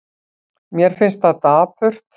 Mér finnst það dapurt.